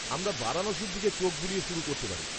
-আমারা বারাণসীর দিকে চোখ বুলিয়ে শুরু করতে পারি।